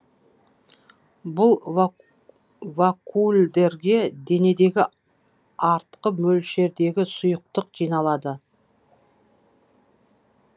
бұл вакуольдерге денедегі артқы мөлшердегі сұйықтық жиналады